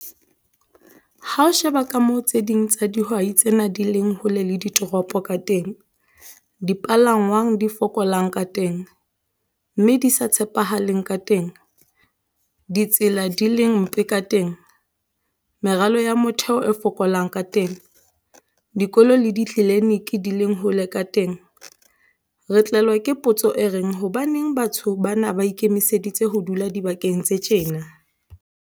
Ha o sheba ka moo tse ding tsa hihwai tsena di leng hole le ditoropo ka teng, dipalanngwang di fokolang ka teng, mme di sa tshepahaleng ka teng, ditsela di leng mpe ka teng, meralo ya motheho e fokolang ka teng, dikolo le ditlelenike di leng hole ka teng, re tlelwa ke potso e reng hobaneng batho bana ba ikemiseditse ho dula dibakeng tse tjena?